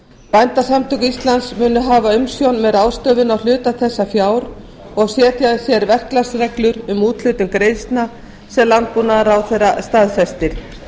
bændasamtök íslands munu hafa umsjón með ráðstöfun á hluta þessa fjár og setja sér verklagsreglur um úthlutun greiðslna sem landbúnaðarráðherra staðfestir